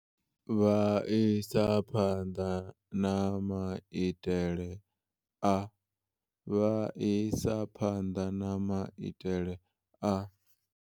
Vha isa phanḓa na maitele a Vha isa phanḓa na maitele a